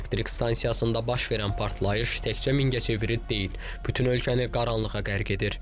Elektrik stansiyasında baş verən partlayış təkcə Mingəçeviri deyil, bütün ölkəni qaranlığa qərq edir.